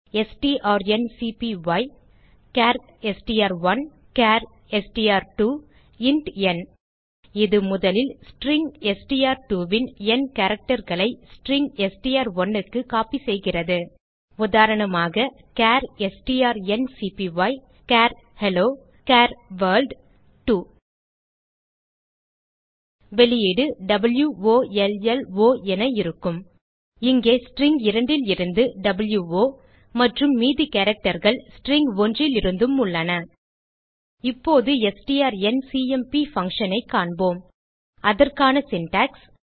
strncpyசார் STR one char STR two int n இது முதலில் string STR two ன் ந் characterகளை ஸ்ட்ரிங் str1க்கு கோப்பி செய்கிறது உதாரணமாக சார் strncpyசார் ஹெல்லோ சார் வர்ல்ட் 2 வெளியீடு வாவ் ஒ ல் ல் ஒ என இருக்கும் இங்கே ஸ்ட்ரிங் 2 லிருந்து வோ மற்றும் மீதி characterகள் ஸ்ட்ரிங் 1லிருந்தும் உள்ளன இப்போது ஸ்ட்ரான்சிஎம்பி functionஐ காண்போம் அதற்கான சின்டாக்ஸ்